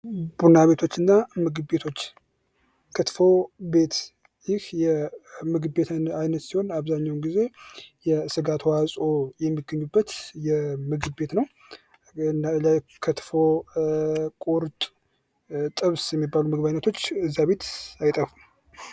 ቡና ቤቶች እና ምግብ ቤቶች ክትፎ ቤት ይህ የምግብ ቤት አይነት ሲሆን አብዛኛዉን ጊዜ የስጋ ተዋፅዖ የሚገኙበት ምግብ ቤት ነዉ። ክትፎ ፣ ቁርጥ፣ ጥብስ የሚባሉ የምግብ አይነቶች እዚህ ቤት አይጠፋም።